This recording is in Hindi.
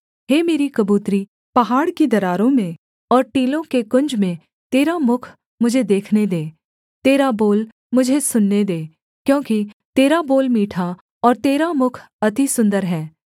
हे मेरी कबूतरी पहाड़ की दरारों में और टीलों के कुंज में तेरा मुख मुझे देखने दे तेरा बोल मुझे सुनने दे क्योंकि तेरा बोल मीठा और तेरा मुख अति सुन्दर है